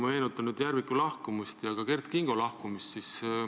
Ma meenutan Järviku lahkumist ja ka Kert Kingo lahkumist.